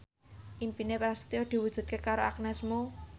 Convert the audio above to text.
impine Prasetyo diwujudke karo Agnes Mo